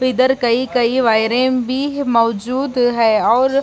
इधर कई-कई वायरे भी मौजूद है और --